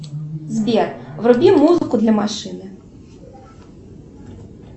сбер вруби музыку для машины